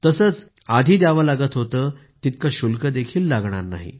तसेच आधी द्यावी लागत होती तितके शुल्कही लागणार नाही